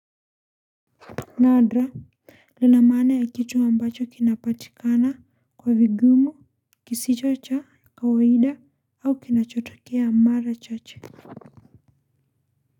Nadra, lina maana ya kitu ambacho kinapatikana kwa vigumu kisicho cha kawaida au kinachotokea mara chache.